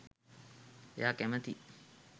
එයා කැමතියි